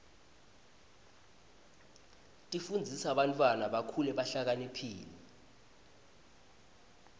tifundzisa bantwana bakhule behlakaniphile